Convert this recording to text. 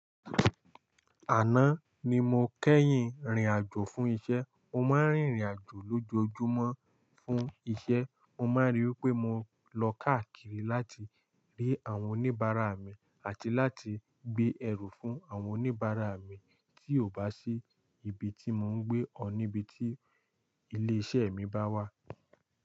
Àná ni mo kẹ́yìn rìn àjò fún iṣẹ́. Mo máa ń rìnrìn àjò lójoojúmọ́ fún iṣẹ́. Mo máa ń ríi pé mo lọ káàkiri láti rí àwọn oníbàárà mi àti láti gbé ẹrù fún àwọn oníbàárà mi tí ò bá sí ibi tí mò ń gbé ọ níbi tí ilé iṣẹ́ mi bá wà.